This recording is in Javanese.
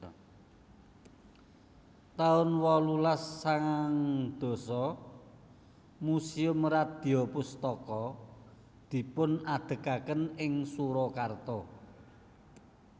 taun wolulas sangang dasa Museum Radyapustaka dipunadegaken ing Surakarta